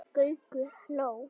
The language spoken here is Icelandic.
Gaukur hló.